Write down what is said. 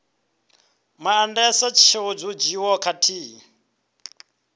maandesa tsheo dzo dzhiiwaho khathihi